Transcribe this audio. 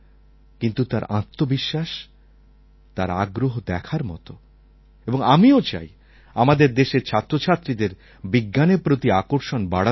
কিন্তু তার আত্মবিশ্বাস তার আগ্রহ দেখার মতো এবং আমিও চাই আমাদের দেশের ছাত্রছাত্রীদের বিজ্ঞানের প্রতি আকর্ষণ বাড়া দরকার